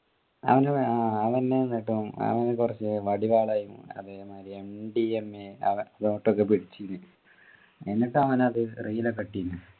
അവനു വേ ആഹ് അവനു എന്നിട്ടും അവനു കുറച്ചു വടിവാള് അതേമാതിരി എംഡിഎംഎ അവൻ vote ഒക്കെ പിടിച്ചിന് എന്നിട്ട് അവനത് reel ഒക്കെ ഇട്ടിന്നു